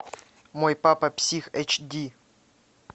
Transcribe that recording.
мой папа псих эйч ди